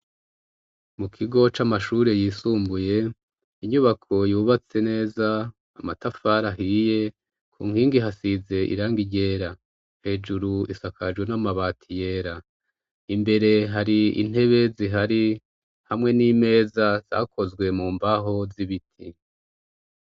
Mu kigo c'amashure yisumbuye, inyubako yubatse neza, amatafari ahiye, ku nkingi hasize irangi ryera. Hejuru isakaje n'amabati yera. Imbere hari intebe zihari, hamwe n'imeza zakozwe mu mbaho z'ibiti.